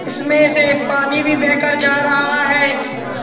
उसमें से पानी भी बहकर जा रहा है।